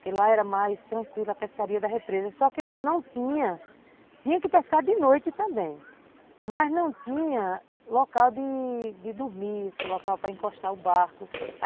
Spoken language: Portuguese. Porque lá era mais tranquila a pescaria da represa, só que lá não tinha... Tinha que pescar de noite também, mas não tinha local de de dormir, local para encostar o barco.